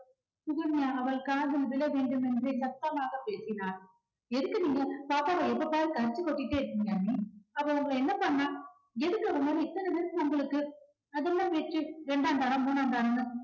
சுகன்யா அவள் காதில் விழ வேண்டுமென்றே சத்தமாக பேசினார். எதுக்கு நீங்க பாப்பாவ எப்ப பாரு கரிச்சி கொட்டிக்கிட்டே இருக்கீங்க அண்ணி அவ உங்களை என்ன பண்ணா எதுக்கு அவ மேல இத்தனை வெறுப்பு உங்களுக்கு அது என்ன பேச்சு ரெண்டாந்தாரம் மூணாந்தாரம்னு